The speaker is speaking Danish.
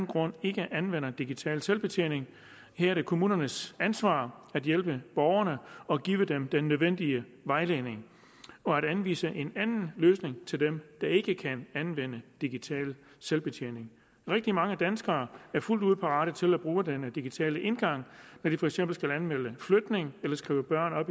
grund ikke anvender digital selvbetjening her er det kommunernes ansvar at hjælpe borgerne og give dem den nødvendige vejledning og at anvise en anden løsning til dem der ikke kan anvende digital selvbetjening rigtig mange danskere er fuldt ud parate til at bruge den digitale indgang når de for eksempel skal anmelde flytning eller skrive børn